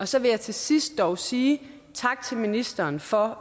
så vil jeg til sidst dog sige tak til ministeren for